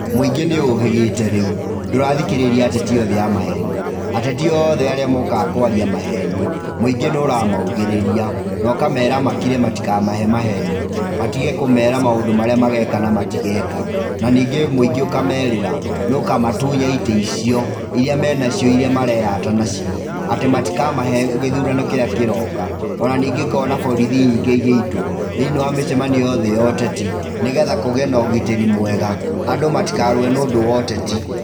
Mũingĩ nĩ ũhĩgĩte rĩu, ndũrathikĩrĩria ateti othe a maheni, ateti othe arĩa mokaga kwaria maheni, mũingĩ nĩ ũramaugĩrĩria na ũkamera makire matikamahe maheni, matige kũmera maũndũ marĩa mageka na matigeka, na ningĩ mũingĩ ũkamerĩra, nĩũkamatunya itĩ icio, iria me nacio iria mareyata nacio, atĩ matikamahe gĩthũrano kĩrĩa kĩroka. o na ningĩ ngona borithi nyingĩ igĩitwo thĩ-inĩ wa mĩcamanio yothe ya ũteti nĩgetha kũgĩe na ũgitĩri mwega, andũ matikarũwe nĩũndũ wa ũteti.